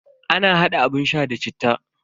Ana hada abun sha da citta.